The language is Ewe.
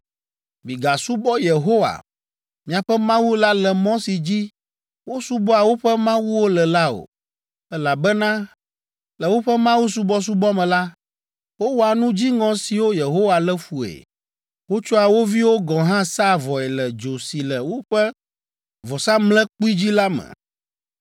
Migasubɔ Yehowa, miaƒe Mawu la le mɔ si dzi wosubɔa woƒe mawuwo le la o, elabena le woƒe mawusubɔsubɔ me la, wowɔa nu dziŋɔ siwo Yehowa lé fue. Wotsɔa wo viwo gɔ̃ hã sãa vɔe le dzo si le woƒe vɔsamlekpui dzi la me.